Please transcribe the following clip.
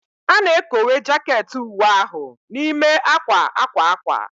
A na-ekowe jaket uwe ahụ n'ime akwa akwa akwa